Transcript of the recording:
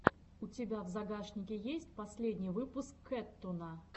у тебя в загашнике есть последний выпуск кэттуна